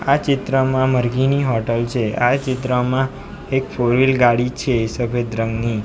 ચિત્રમાં મરઘીની હોટલ છે આ ચિત્રમાં એક ફોર વ્હીલ ગાડી છે સફેદ રંગની.